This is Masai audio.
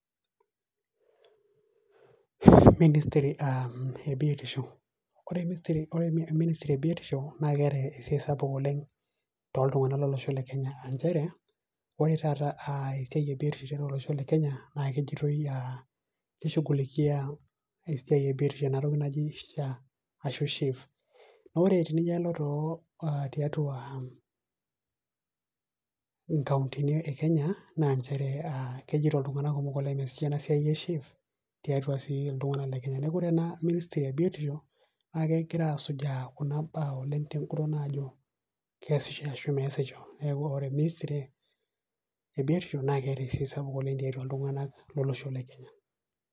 ministry aaah eeh biyotisho, ore ministry ,ore ministry eeh biyotisho naa keeta esiai sapuk oleng tooltung'anak lolosho kenya aah nchere ore taata aah esiai eeh biyotisho tolosho le kenya, naa kejitoi aaah kishughulikia esiai ebiyotisho ena toki naji SHA ashu SHIF. Ore tenijalo too tiatua nkauntini eeh kenya naa nchere aah kejito iltung'ak kumok oleng meesisho enasiai eeh SHIF tiatua sii iltung'anak le kenya, neeku ore ministry eeh biyotisho naa kegira aasujaa kuna baa oleng teguton aajo meesisho ashu keesisho. Neeku ore ministry eeh biyotisho naa keeta esiai sapuk oleng tiatua ltung'anak lolosho le kenya